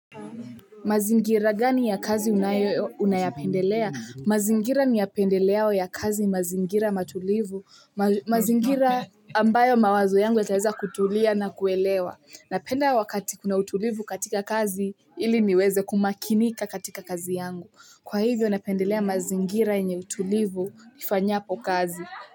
Mazingira gani ya kazi una yapendelea? Mazingira niyapendeleao ya kazi mazingira matulivu. Mazingira ambayo mawazo yangu yataeza kutulia na kuelewa. Na penda wakati kuna utulivu katika kazi, ili ni weze kumakinika katika kazi yangu. Kwa hivyo napendelea mazingira yenye utulivu nifanyapo kazi.